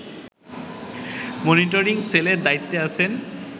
monitoring সেলের দায়িত্বে আছেন